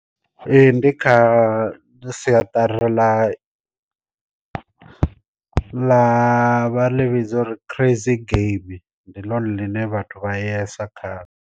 Ee ndi kha ndi siaṱari ḽa ḽa vha livhi dzo uri crazy geimi ndi ḽone ḽine vhathu vha yesa kha ḽo.